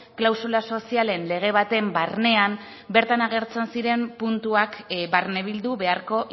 klausula sozialen lege baten barnean bertan agertzen ziren puntuak barnebildu beharko